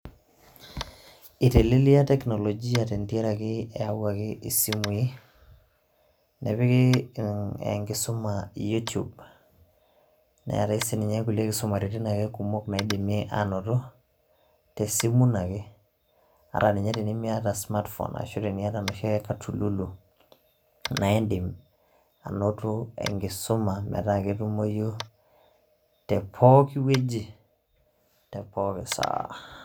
Elelia teknolojia tendiaraki neyawuaki esimuii nepiki enkisuma yutub neatea ake sininche engulie kisumareten kumok naidimie aanoto tesimu ino ake, ata ninye tenimiata smart phone ata ninye teniata enoshiake katululu. Naa iidim anoto enkisuma metaa ketumoyu tepook wueji te pooki saa.